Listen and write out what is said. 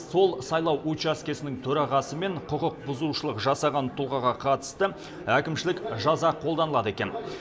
сол сайлау учаскесінің төрағасы мен құқықбұзушылық жасаған тұлғаға қатысты әкімшілік жаза қолданылады екен